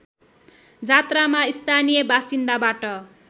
जात्रामा स्थानीय बासिन्दाबाट